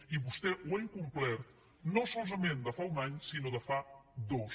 i vostè ho ha incomplert no solament de fa un any sinó de en fa dos